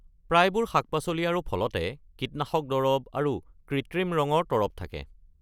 প্ৰায়বোৰ শাক-পাচলি আৰু ফলতে কীটনাশক দৰব আৰু কৃত্ৰিম ৰঙৰ তৰপ থাকে।